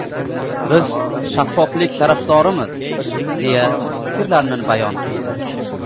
Biz shaffoflik tarafdorimiz”, deya fikrlarini bayon qildi.